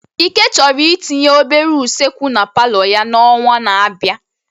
Ike chọrọ itinye obere usekwu na palo ya n'ọnwa na-abịa.